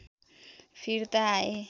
फिर्ता आए